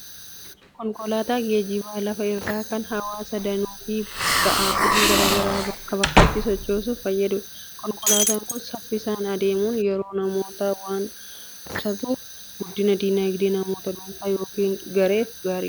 Konkolaataan geejjiba lafa irraa kan hawwaasa danuu fi ba'aawwan garaa garaa bakkaa bakkatti sochoosuuf fayyadudha. Konkolaataan kun saffisaan adeemuun yeroo namootaa waan qusatuuf, guddina diinagdee namoota dhuunfaa yookiin gareef gaariidha.